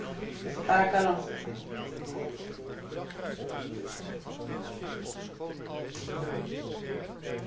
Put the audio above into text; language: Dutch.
Voorzitter, de PVV is een partij die op geen enkele wijze geweld in de openbare ruimte toestaat.